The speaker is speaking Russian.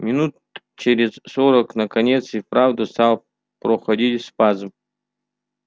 минут через сорок наконец и вправду стал проходить спазм